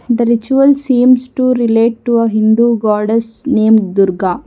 the ritual seems to relate to uh hindu goddess name durga.